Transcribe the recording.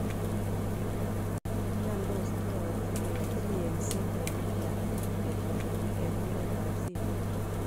Che miondos che yoche keyochi yeng'set en England ketoreti en oret ab simoit